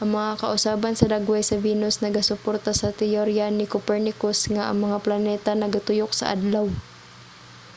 ang mga kausaban sa dagway sa venus nagasuporta sa teorya ni copernicus nga ang mga planeta nagatuyok sa adlaw